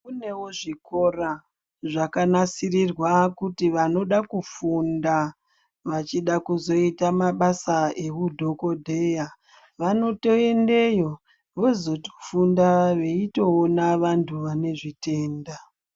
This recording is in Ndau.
Kunewo zvikora zvaka nasirirwa kuti vanoda kufunda vachida kuzoita mabasa ehu dhokodheya vanoto endeyo vozo funda veitoona vantu vane zvitenda.